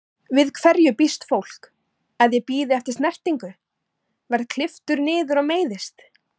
Við hverju býst fólk, að ég bíði eftir snertingu, verð klipptur niður og meiðist?